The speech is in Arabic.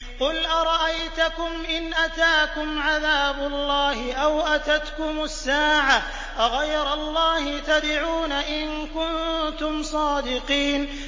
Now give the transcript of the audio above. قُلْ أَرَأَيْتَكُمْ إِنْ أَتَاكُمْ عَذَابُ اللَّهِ أَوْ أَتَتْكُمُ السَّاعَةُ أَغَيْرَ اللَّهِ تَدْعُونَ إِن كُنتُمْ صَادِقِينَ